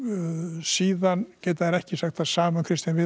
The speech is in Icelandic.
síðan geta þeir ekki sagt það sama um Kristján